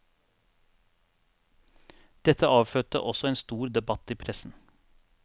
Dette avfødte også en stor debatt i pressen.